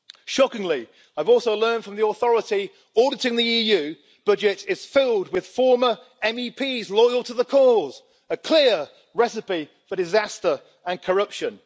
Shockingly, I have also learned that the authority auditing the EU budget is filled with former MEPs loyal to the cause a clear recipe for disaster and corruption.